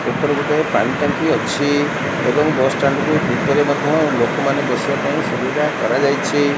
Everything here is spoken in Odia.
ଓପରେ ଗୋଟେ ପାଣି ଟାଙ୍କି ଅଛି ଏବଂ ବସ୍ ଷ୍ଟାଣ୍ଡ୍ କୁ ଭିତରେ ମଧ୍ୟ ଲୋକମାନେ ବସିବା ପାଇଁ ସୁବିଧା କରାଯାଇଛି।